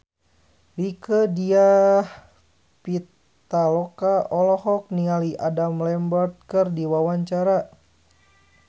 Rieke Diah Pitaloka olohok ningali Adam Lambert keur diwawancara